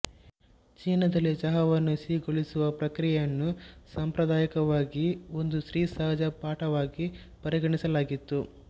ಚೀನಾದಲ್ಲಿ ಚಹಾವನ್ನು ಸಿಹಿಗೊಳಿಸುವ ಪ್ರಕ್ರಿಯೆಯನ್ನು ಸಾಂಪ್ರದಾಯಿಕವಾಗಿ ಒಂದು ಸ್ತ್ರೀಸಹಜ ಪರಿಪಾಠವಾಗಿ ಪರಿಗಣಿಸಲಾಗಿತ್ತು